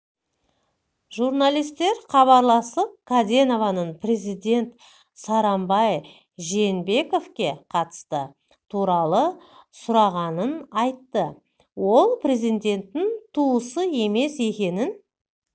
журналистер хабарласып каденованың президент сооронбай жээнбековке қатысы туралы сұрағанын айтты ол президенттің туысы емес екенін